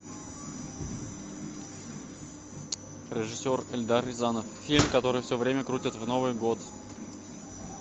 режиссер эльдар рязанов фильм который все время крутят в новый год